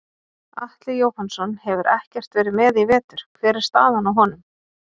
Atli Jóhannsson hefur ekkert verið með í vetur hver er staðan á honum?